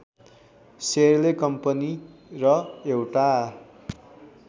सेयरले company र एउटा